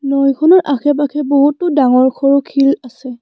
নৈখনৰ আশে-পাশে ডাঙৰ সৰু শিল আছে।